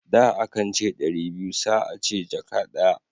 Da, a kan ce ɗari biyu sa a ce jaka daya.